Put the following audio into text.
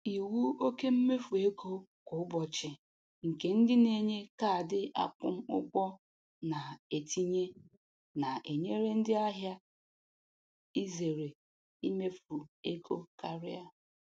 Iwu oke mmefu kwa ụbọchị nke ndị na-enye kaadị akwụ ụgwọ na-etinye na-enyere ndị ahịa izere imefu ego karịa.